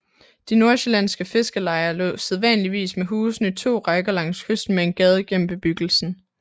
De nordsjællandske fiskerlejer lå sædvanligvis med husene i to rækker langs kysten med en gade gennem bebyggelsen